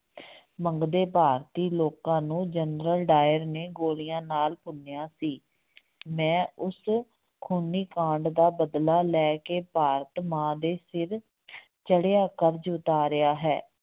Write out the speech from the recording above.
ਮੰਗਦੇ ਭਾਰਤੀ ਲੋਕਾਂ ਨੂੰ ਜਨਰਲ ਡਾਇਰ ਨੇ ਗੋਲੀਆਂ ਨਾਲ ਭੁੰਨਿਆ ਸੀ ਮੈਂ ਉਸ ਖੂਨੀ ਕਾਂਡ ਦਾ ਬਦਲਾ ਲੈ ਕੇ ਭਾਰਤ ਮਾਂ ਦੇ ਸਿਰ ਚੜ੍ਹਿਆ ਕਰਜ਼ ਉਤਾਰਿਆ ਹੈ।